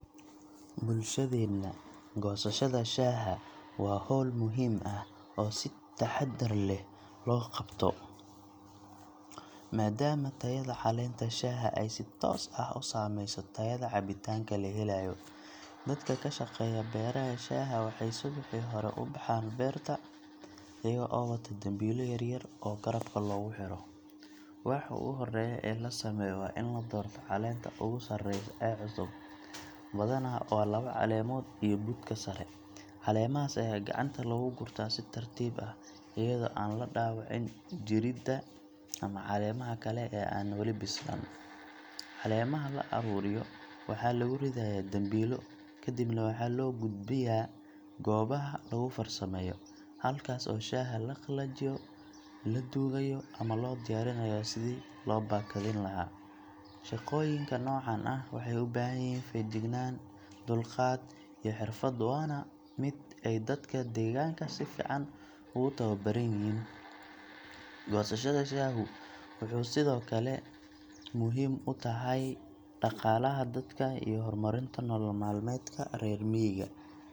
Bulshadeenna, goosashada shaaha waa hawl muhiim ah oo si taxaddar leh loo qabto, maadaama tayada caleenta shaaha ay si toos ah u saameyso tayada cabitaanka la helayo. Dadka ka shaqeeya beeraha shaaha waxay subaxii hore u baxaan beerta, iyaga oo wata dambiilo yar yar oo garabka looga xiro. Waxa ugu horreeya ee la sameeyo waa in la doorto caleenta ugu sarreysa ee cusub – badanaa waa laba caleemood iyo budka sare. Caleemahaas ayaa gacanta lagu gurtaa si tartiib ah, iyadoo aan la dhaawicin jirridda ama caleemaha kale ee aan weli bislaan. Caleemaha la ururiyo waxaa lagu ridayaa dambiilo, ka dibna waxaa loo gudbiyaa goobaha lagu farsameeyo, halkaas oo shaaha la qalajiyo, la duugayo ama loo diyaarinayo sidii loo baakadin lahaa. Shaqooyinka noocan ah waxay u baahan yihiin feejignaan, dulqaad, iyo xirfad, waana mid ay dadka deegaanka si fiican ugu tababaran yihiin. Goosashada shaahu waxay sidoo kale muhiim u tahay dhaqaalaha dadka iyo horumarinta nolol maalmeedka reer miyiga.